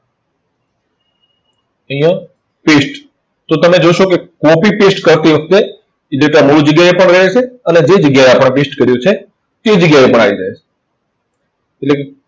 અહીંયા paste. જો તમે જોશો કે copy paste કરતી વખતે data મૂળ જગ્યાએ પણ રહેશે અને જે જગ્યાએ આપણે paste કર્યો છે, તે જગ્યાએ પણ આવી જાય. એટલે